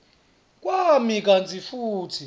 kwami kantsi futsi